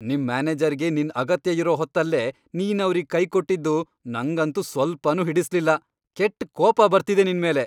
ನಿಮ್ ಮ್ಯಾನೇಜರ್ಗೆ ನಿನ್ ಅಗತ್ಯ ಇರೋ ಹೊತ್ತಲ್ಲೇ ನೀನವ್ರಿಗ್ ಕೈಕೊಟ್ಟಿದ್ದು ನಂಗಂತೂ ಸ್ವಲ್ಪನೂ ಹಿಡಿಸ್ಲಿಲ್ಲ, ಕೆಟ್ಟ್ ಕೋಪ ಬರ್ತಿದೆ ನಿನ್ಮೇಲೆ.